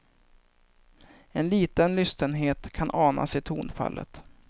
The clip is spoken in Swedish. En liten lystenhet kan anas i tonfallet.